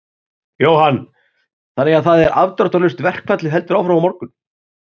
Jóhann: Þannig að það er afdráttarlaust, verkfallið heldur áfram á morgun?